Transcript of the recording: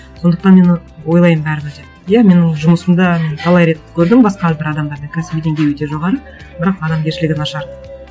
сондықтан мен ы ойлаймын бәрібір де иә менің жұмысымда мен талай рет көрдім басқа бір адамдардың кәсіби деңгейі өте жоғары бірақ адамгершілігі нашар